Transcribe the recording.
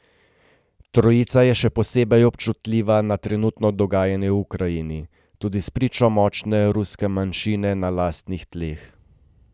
Trojica je še posebej občutljiva za trenutno dogajanje v Ukrajini, tudi spričo močne ruske manjšine na lastnih tleh.